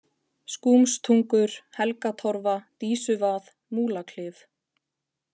Skúmstungur, Helgatorfa, Dísuvað, Múlaklif